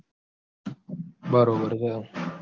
બરોબર છે